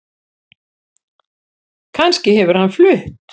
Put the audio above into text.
Kannski hefur hann flutt